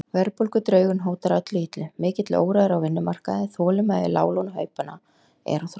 Verðbólgudraugurinn hótar öllu illu, mikill órói er á vinnumarkaði, þolinmæði láglaunahópanna er á þrotum.